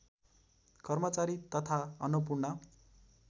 कर्मचारी तथा अन्नपूर्ण